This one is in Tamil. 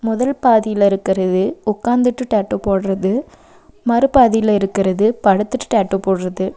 முதல் பாதில இருக்கறது உக்காந்துட்டு டாட்டூ போடுறது மறுபாதில இருக்கறது படுத்துட்டு டாட்டூ போடுறது.